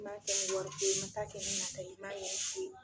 I ma kɛ ni wari ko ye, i ma taa kɛ i nata yɛrɛ, foyi